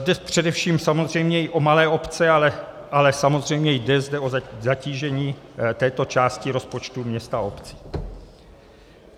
Jde především samozřejmě i o malé obce, ale samozřejmě jde zde o zatížení této části rozpočtu měst a obcí.